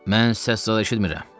Mən səs zad eşitmirəm.